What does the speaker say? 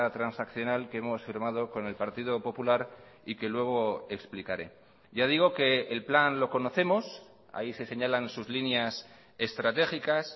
transaccional que hemos firmado con el partido popular y que luego explicaré ya digo que el plan lo conocemos ahí se señalan sus líneas estratégicas